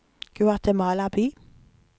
Guatemala by